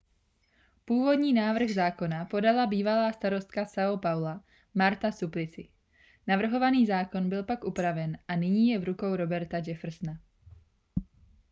původní návrh zákona podala bývalá starostka são paula marta suplicy. navrhovaný zákon byl pak upraven a nyní je v rukou roberta jeffersona